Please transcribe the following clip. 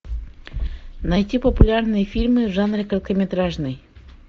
найти популярные фильмы в жанре короткометражный